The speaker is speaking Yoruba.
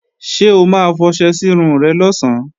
Ṣé o ma fọṣẹ sírun rẹ̀ lọ̀sán?